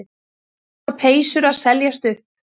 Bláar peysur að seljast upp